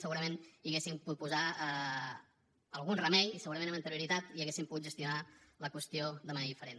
segurament hi hauríem pogut posar algun remei segurament amb anterioritat i hauríem pogut gestionar la qüestió de manera diferent